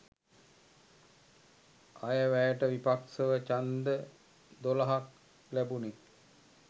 අයවැයට විපක්ෂව ඡන්ද දොළහක් ලැබුණි